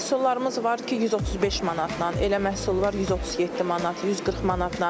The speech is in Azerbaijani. Elə məhsullarımız var ki, 135 manatdan, elə məhsul var 137 manat, 140 manatdan.